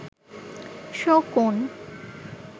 শকুন